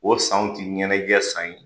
O sanw tɛ ɲɛnagɛ san ye.